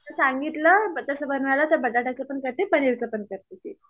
सांगितलं तस बनवायला बटेटाच पण करतें पनीरच पण करते